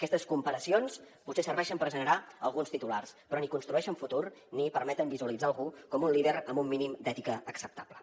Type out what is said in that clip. aquestes comparacions potser serveixen per generar alguns titulars però ni construeixen futur ni permeten visualitzar algú com un líder amb un mínim d’ètica acceptable